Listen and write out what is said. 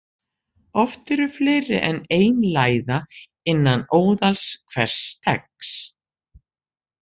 Oft eru fleiri en ein læða innan óðals hvers steggs.